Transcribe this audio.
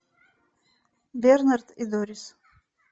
бернард и дорис